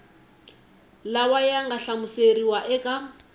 lawa ya nga hlamuseriwa eka